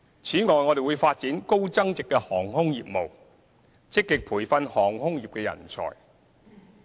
此外，我們會發展高增值的航空業務，積極培訓航空業人才。